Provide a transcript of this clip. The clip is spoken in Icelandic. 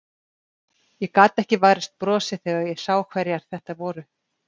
Ég gat ekki varist brosi þegar ég sá hverjar þetta voru.